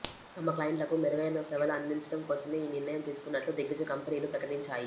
తమ క్లయింట్లకు మెరుగైన సేవలు అందించడం కోసమే ఈ నిర్ణయం తీసుకున్నట్లు దిగ్గజ కంపెనీలు ప్రకటించాయి